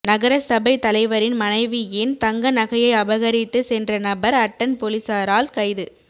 நகரசபை தலைவரின் மனைவியின் தங்க நகையை அபகரித்து சென்ற நபர் அட்டன் பொலிஸாரால் கைது